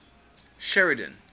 sheridan